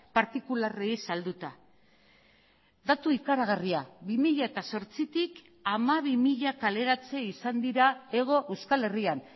partikularrei salduta datu ikaragarria bi mila zortzitik hamabi mila kaleratze izan dira hego euskal herrian